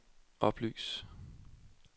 oplys